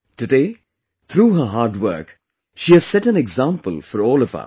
Today, through her hard work, she has set an example for all of us